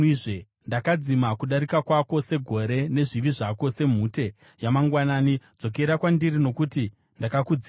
Ndakadzima kudarika kwako segore, nezvivi zvako semhute yamangwanani. Dzokera kwandiri, nokuti ndakakudzikinura.”